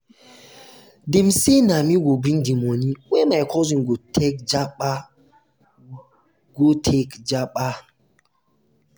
dem sey na me go bring di moni wey my cousin go take japa. go take japa.